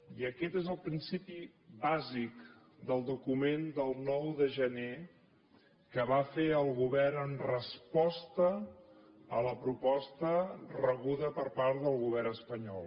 i aquest és el principi bàsic del document del nou de gener que va fer el govern en resposta a la proposta rebuda per part del govern espanyol